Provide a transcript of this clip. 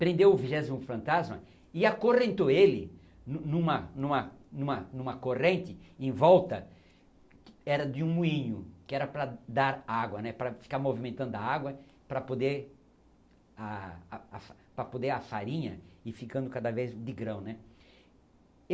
Prendeu o vigésimo fantasma e acorrentou ele nu em uma em uma em uma corrente em volta, era de um moinho, que era para dar água né, para ficar movimentando a água para poder ah, ah, ah... para poder a farinha ir ficando cada vez de grão né.